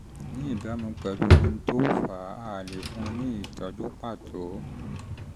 ní ìbámu pẹ̀lú ohun tó fà á a lè fún un ní ìtọ́jú pàtó